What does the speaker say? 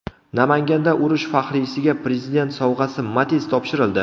Namanganda urush faxriysiga Prezident sovg‘asi Matiz topshirildi.